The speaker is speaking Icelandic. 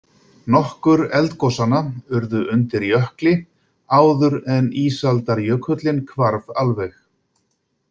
Nokkur eldgosanna urðu undir jökli áður en ísaldarjökullinn hvarf alveg.